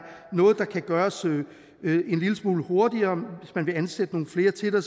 noget der kan gøres en lille smule hurtigere hvis man vil ansætte nogle flere til det